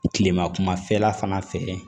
Kilema kumafɛla fana fɛ